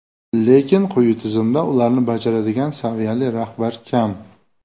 Lekin quyi tizimda ularni bajaradigan saviyali rahbar kam.